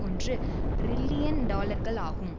ஒன்று ரில்லியன் டாலர்கள் ஆகும்